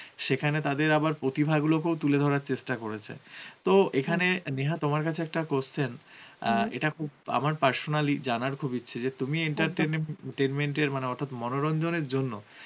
সেখানে আবার তাদের প্রতিভা গুলোকেও তুলে ধরার চেষ্টা করেছে, তো এখানে নেহা তোমার কাছে একটা question ইটা খুব আমার personally জানার খুব ইচ্ছে যে তুমি tainment এর মানে অর্থাৎ মনোরঞ্জনের জন্যে